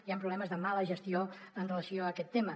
hi ha problemes de mala gestió amb relació a aquest tema